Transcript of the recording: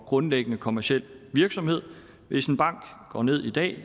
grundlæggende kommerciel virksomhed hvis en bank går ned i dag